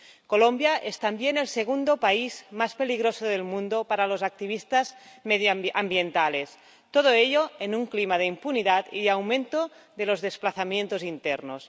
Colombia es también el segundo país más peligroso del mundo para los activistas medioambientales, todo ello en un clima de impunidad y aumento de los desplazamientos internos.